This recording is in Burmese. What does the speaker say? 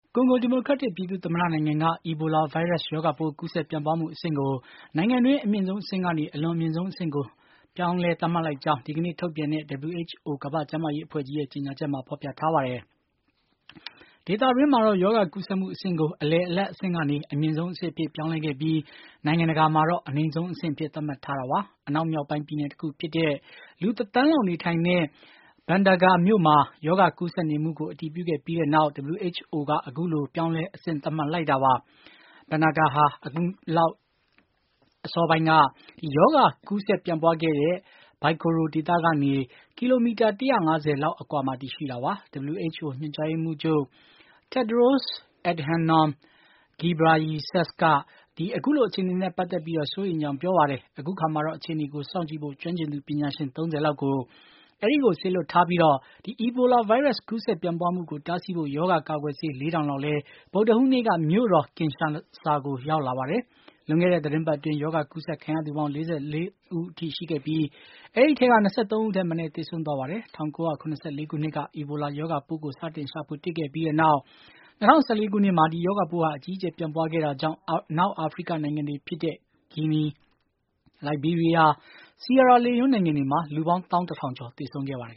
ကွန်ဂိုဒီမိုကရက်တစ် ပြည်သူ့သမ္မတနိုင်ငံက အီဘိုလာ ဗိုင်းရပ်စ်ရောဂါပိုး ကူးစက်ပျံ့ပွါးမှု အဆင့်ကို နိုင်ငံတွင်း အမြင့်ဆုံးအဆင့်ကနေ အလွန်အမြင့်ဆုံးအဆင့်ကို သတ်မှတ် လိုက်ကြောင်း ဒီကနေ့ထုတ်ပြန်တဲ့ WHO ကမ္ဘာ့ ကျန်းမာရေးအဖွဲ့ကြီးရဲ့ ကြေညာချက်မှာ ဖေါ်ပြထားပါတယ်။ ဒေသတွင်းမှာ ရောဂါကူးဆက်မှုအဆင့်ကို အလယ်အလတ်အဆင့်ကနေ အမြင့်ဆုံး အဆင့်အဖြစ် ပြောင်းလဲ ခဲ့ပြီး နိုင်ငံတကာမှာတော့ အနိမ့်ဆုံးအဆင့်အဖြစ် သတ်မှတ်ထား တာပါ။ အနောက်မြောက်ပိုင်း ပြည်နယ်တခု ဖြစ်တဲ့ လူ တသန်းလောက် နေထိုင်တဲ့ Mbandaka မြို့မှာ ရောဂါကူးစက်နေမှုကို အတည်ပြုခဲ့ပြီးတဲ့နောက် WHO က အခုလို ပြောင်းလဲသတ်မှတ်လိုက်တာပါ။ Mbandaka ဟာ အခုလောက်အစောပိုင်းက ရောဂါ ကူးစက်ပျံ့ပွါးခဲ့တဲ့ Bikoro ဒေသကနေ ကီလိုမီတာ ၁၅၀ လောက်အကွာမှာ တည်ရှိတာ ပါ။ WHO ညွှန်ကြားရေးမှူးချုပ် Tedros Adhanom Ghebreyesus က အခုလို အခြေအနေနဲ့ ပတ်သက်ပြီး စိုးရိမ်ကြောင်းပြောပါတယ်။ အခုအခါမှာတော့ အခြေအနေကိုစောင့်ကြည့်ဖို့ ကျွမ်းကျင်သူပညာရှင် ၃၀ လောက်ကို စေလွှတ်ထားပြီး ဒီအီဘိုလာဗိုင်းရပ်စ် ကူးစက် ပျံ့ပွါးမှုကို တားဆီးဖို့ ရောဂါကာကွယ်ဆေး ၄၀၀၀ လောက် ဗုဒ္ဓဟူးနေ့က မြို့တော် Kinshasa ကို ရောက်ရှိလာပါတယ်။ လွန်ခဲ့တဲ့သီတင်းပတ်အတွင်း ရောဂါကူးစက်ခံရသူပေါင်း ၄၄ ဦးထိရှိခဲ့ပြီး အဲဒီထဲက ၂၃ ဦးထက်မနည်း သေဆုံး သွားပါတယ်။ ၁၉၇၄ ခုနှစ်က အီဘိုလာရောဂါပိုးကို စတင် ရှာတွေ့ခဲ့ပြီး နောက် ၂၀၁၄ ခုနှစ်မှာ ဒီရောဂါပိုးဟာ အကြီးအကျယ် ပျံ့ပွါးခဲ့တာကြောင့် အနောက်အာဖရိကနိုင်ငံတွေဖြစ်တဲ့ Guinea ၊ Liberia နဲ့ Sierra Leone နိုင်ငံတွေမှာ လူပေါင်း ၁၁,၀၀၀ ကျော်သေဆုံးခဲ့ပါတယ်